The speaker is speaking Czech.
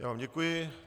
Já vám děkuji.